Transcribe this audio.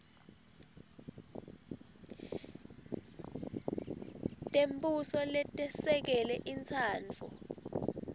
tembuso letesekele intsandvo